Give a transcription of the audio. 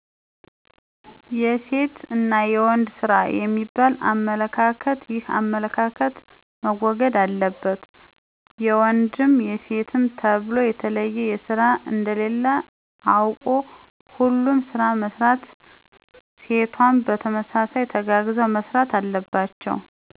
የሴት እና የወንድ ስራ የሚባል አመለካከት ይህ አመለካከት መወገድ አለበት ወንዱም የሴት ተብሎ የተለየ ስራ እንደሌለ አውቆ ሁሉንም ስራ መስራት ሴቷም በተመሳይ ተጋግዘው መስራት አለባቸው።